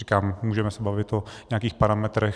Říkám, můžeme se bavit o nějakých parametrech.